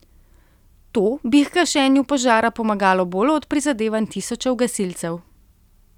To bi h gašenju požara pomagalo bolj od prizadevanj tisočev gasilcev.